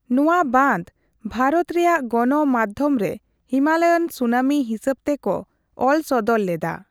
ᱱᱚᱣᱟ ᱵᱟᱱᱫᱚ ᱵᱷᱟᱨᱚᱛ ᱨᱮᱭᱟᱜ ᱜᱚᱱᱚᱢᱟᱫᱽᱫᱷᱚᱢ ᱨᱮ 'ᱦᱤᱢᱟᱞᱚᱭᱟᱱ ᱥᱩᱱᱟᱹᱢᱤ' ᱦᱤᱥᱟᱹᱵᱽᱛᱮ ᱠᱚ ᱚᱞᱥᱚᱫᱚᱨ ᱞᱮᱫᱟ ᱾